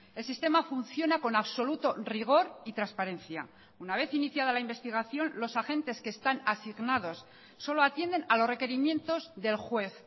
el sistema funciona con absoluto rigor y transparencia una vez iniciada la investigación los agentes que están asignados solo atienden a los requerimientos del juez